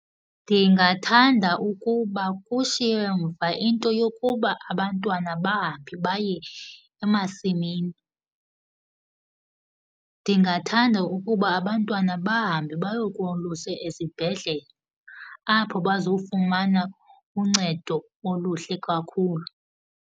Ndingathanda ukuba kushiywe mva into yokuba abantwana bahambe baye emasimini, ndingathanda ukuba abantwana bahambe bayokoluswa esibhedle apho bazofumana uncedo oluhle kakhulu.